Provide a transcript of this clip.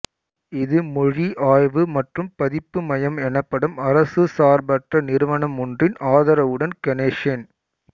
இது மொழி ஆய்வு மற்றும் பதிப்பு மையம் எனப்படும் அரசுசார்பற்ற நிறுவனமொன்றின் ஆதரவுடன் கணேஷ் என்